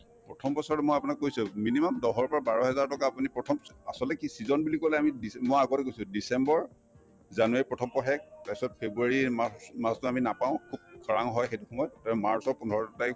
প্ৰথম বছৰত মই আপোনাক কৈছো minimum দহৰ পৰা বাৰহেজাৰ টকা আপুনি প্ৰথম আচলতে কি season বুলি কলে আমি december মই আগতে কৈছো december january ৰ প্ৰথম পষেক তাৰপিছত february ৰ মাজতে আমি নাপাওঁ খুব খৰাং হয় সেইটো সময়ত তাৰপিছত march ৰ পোন্ধৰ তাৰিখ